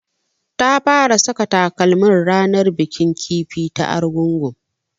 Ta fara saka takalmin ranar bikin kifi ta Argungu